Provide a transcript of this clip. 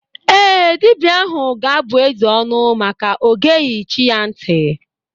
Ee, dibia ahụ ga-abụ eze ọnụ maka ọ geghi chi ya nti.